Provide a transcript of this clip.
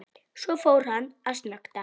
Svo fór hann að snökta.